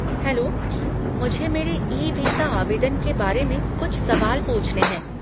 Hello, मुझे मेरे e visa आवेदन के बारे कुछ सवाल पूछने हैं।